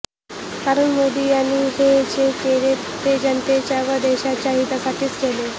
कारण मोदी यांनी हे जे केले ते जनतेच्या व देशाच्या हितासाठीच केले